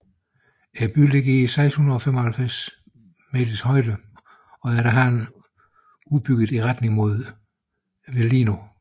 Byen ligger i 695 meter højde og er efterhånden udbygget i retning mod Velino